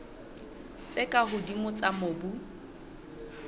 tse ka hodimo tsa mobu